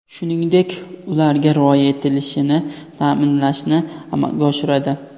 shuningdek ularga rioya etilishini ta’minlashni amalga oshiradi.